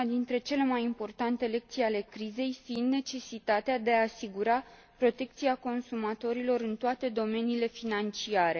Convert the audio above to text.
Una dintre cele mai importante lecții ale crizei fiind necesitatea de a asigura protecția consumatorilor în toate domeniile financiare.